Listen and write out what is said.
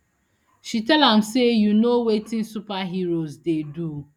she tell am say you know wetin superheroes dey do